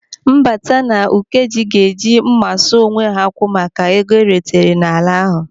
Mbata na Ukeje ga-eji mma sụọ onwe ha akwụ maka ego eretere n'ala ahụ.